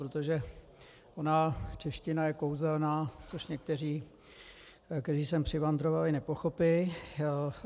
Protože ona čeština je kouzelná, což někteří, kteří sem přivandrovali, nepochopí.